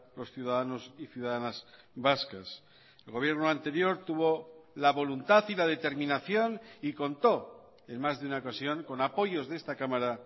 los ciudadanos y ciudadanas vascas el gobierno anterior tuvo la voluntad y la determinación y contó en más de una ocasión con apoyos de esta cámara